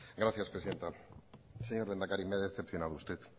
gracias presidenta señor lehendakari me ha decepcionado usted